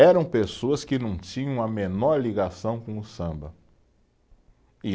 Eram pessoas que não tinham a menor ligação com o samba, e